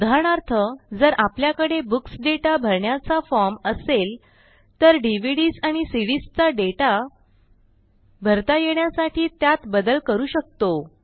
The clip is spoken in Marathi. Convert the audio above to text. उदाहरणार्थ जर आपल्याकडे बुक्स दाता भरण्याचा फॉर्म असेल तर डीव्हीडीएस आणि सीडीएस चा डेटा भरता येण्यासाठी त्यात बदल करू शकतो